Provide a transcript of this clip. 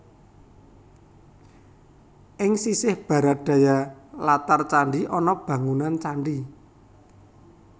Ing sisih Barat Daya latar candhi ana bangunan candhi